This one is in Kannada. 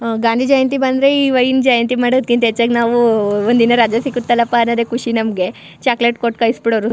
ಆ ಗಾಂಧಿ ಜಯಂತಿ ಬಂದ್ರೆ ಈವಯ್ಯನ ಜಯಂತಿ ಮಾದೋದ್ಕಿಂತ ಹೆಚ್ಚಾಗಿ ನಾವು ಉ ಒಂದಿನ ರಜಾ ಸಿಗುತ್ತಲ್ಲಪ್ಪ ಅಂತ ಖುಷಿ ನಮಗೆ ಚಾಕ್ಲೆಟ್ ಕೊಟ್ಟು ಕಳಿಸಿ ಬಿಡೋರು.